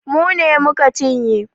Mu ne mu ka cinye.